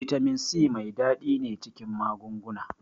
Bitamin C mai ɗadi ne cikin magunguna.